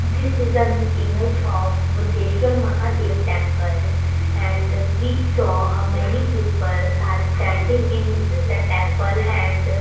this is um image of buddheshwar mahadev temple and we saw a many peoples are standing in the temple and --